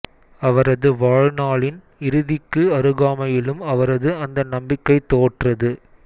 அவரது வாழ்நாளின் இறுதிக்கு அருகாமையிலும் அவரது அந்த நம்பிக்கை தோற்றது